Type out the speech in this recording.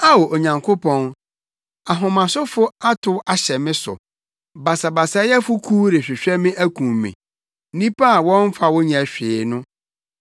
Ao, Onyankopɔn, ahomasofo atow ahyɛ me so; basabasayɛfo kuw rehwehwɛ me akum me, nnipa a wɔmmfa wo nyɛ hwee no.